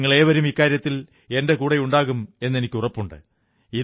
നിങ്ങളേവരും ഇക്കാര്യത്തിൽ എന്റെ കൂടെയുണ്ടാകുമെന്ന് എനിക്കുറപ്പുണ്ട്